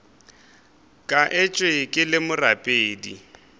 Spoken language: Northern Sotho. ka etšwe ke le morapedi